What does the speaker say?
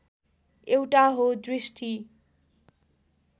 एउटा हो दृष्टि